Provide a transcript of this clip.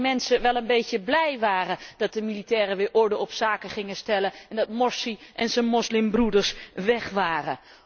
Dat de mensen eigenlijk wel een beetje blij waren dat de militairen weer orde op zaken gingen stellen en dat Morsi en zijn moslimbroeders weg waren.